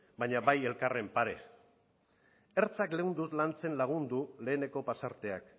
baina bai elkarren pare ertzak leunduz lantzen lagundu leheneko pasarteak